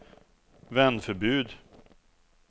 vändförbud